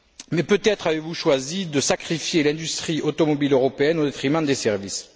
Mais peut être avez vous choisi de sacrifier l'industrie automobile européenne au détriment des services!